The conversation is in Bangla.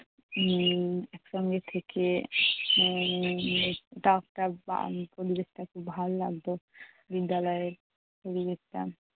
উম একসঙ্গে থেকে পরিবেশটা খুব ভাল লাগতো। বিদ্যালয়ের পরিবেশটা